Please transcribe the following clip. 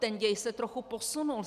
Ten děj se trochu posunul.